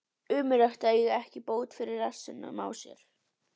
Ömurlegt að eiga ekki bót fyrir rassinn á sér.